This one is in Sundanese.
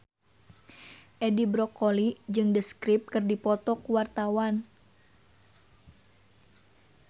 Edi Brokoli jeung The Script keur dipoto ku wartawan